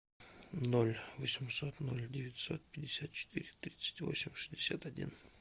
ноль восемьсот ноль девятьсот пятьдесят четыре тридцать восемь шестьдесят один